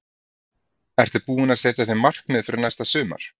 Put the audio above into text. Ertu búinn að setja þér markmið fyrir næsta sumar?